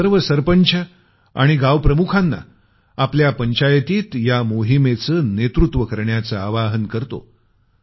मी सर्व सरपंच आणि गाव प्रमुखांना आपल्या पंचायतीत या मोहिमेचं नेतृत्व करण्याचं आवाहन करतो